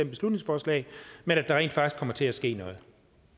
beslutningsforslag men at der rent faktisk kommer til at ske noget